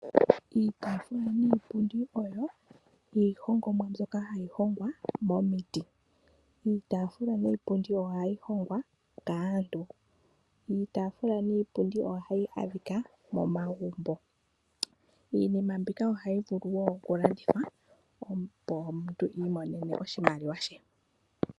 Iitaafula niipundi oyo iihongomwa mbyoka hayi hongwa momiti. Iitaafula niipundi ohayi hongwa kaantu. Iitaafula niipundi ohayi adhika momagumbo. Iinima mbika ohayi vulu wo okulandithwa, opo omuntu i imonene oshimaliwa she.